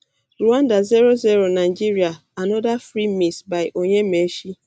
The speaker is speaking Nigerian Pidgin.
rwanda zero zero nigeria anoda free miss by onyemaechi